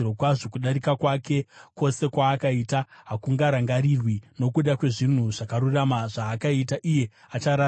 Kudarika kwake kwose kwaakaita hakungarangarirwi. Nokuda kwezvinhu zvakarurama zvaakaita, iye achararama.